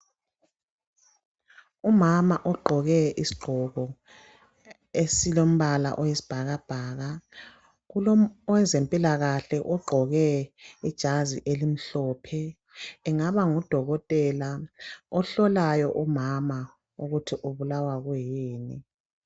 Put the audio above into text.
Umama ogqoke isigqoko esilombala oyisibhakabhaka, kulowezempilakahle ogqoke ijazi elimhlophe engaba ngudokotela ohlolayo umama ukuthi ubulawa yini.